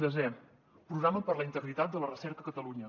desena programa per a la integritat de la recerca a catalunya